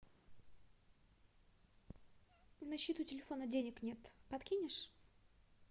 на счету телефона денег нет подкинешь